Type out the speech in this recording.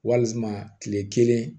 Walima kile kelen